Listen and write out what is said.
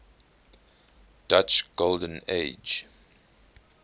dutch golden age